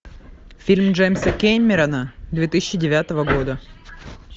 фильм джеймса кэмерона две тысячи девятого года